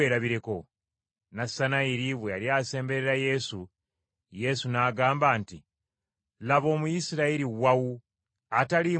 Nassanayiri bwe yali asemberera Yesu, Yesu n’agamba nti, “Laba, Omuyisirayiri wawu ataliimu bukuusa.”